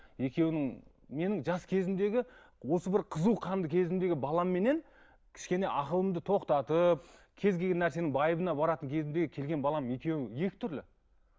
екеуінің менің жас кезімдегі осы бір қызу қанды кезімдегі баламменнен кішкене ақылымды тоқтатып кез келген нәрсенің байыбына баратын кезімдегі келген балам екеуі екі түрлі